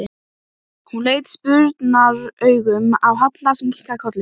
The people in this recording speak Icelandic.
Þess í stað var kynjamismunurinn áréttaður af enn meiri krafti.